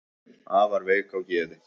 afar veik á geði